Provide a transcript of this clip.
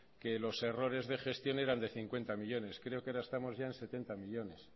que los errores de gestión eran de cincuenta millónes creo que ahora estamos ya en setenta millónes